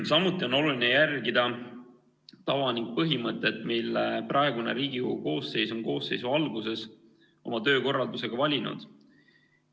Samuti on oluline järgida tava ja põhimõtet, mille praegune Riigikogu koosseis on koosseisu alguses oma töökorraldusega valinud.